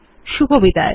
শুভবিদায়